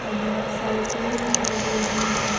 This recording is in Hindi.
और बहुत सारे पेड़ दिखाई दे रहे हैं।